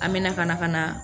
An mɛna ka na ka na